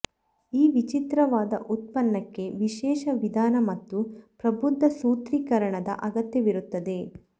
ಈ ವಿಚಿತ್ರವಾದ ಉತ್ಪನ್ನಕ್ಕೆ ವಿಶೇಷ ವಿಧಾನ ಮತ್ತು ಪ್ರಬುದ್ಧ ಸೂತ್ರೀಕರಣದ ಅಗತ್ಯವಿರುತ್ತದೆ